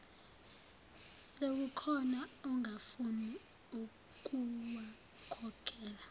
sekukhona ongafuni ukuwakhokhela